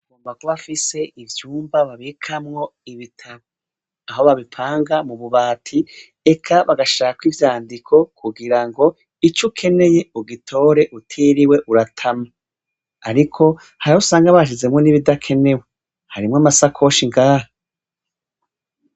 Amagw'afise ivyumba babikamwo ibitabu, aho babipanga mu bubati eka bagashirako ivyandiko kugira ngo icukeneye ugitore utiriwe uratama. Ariko harahusanga bashizemwo n'ibidakenewe, harimw'amasakoshi ngaha.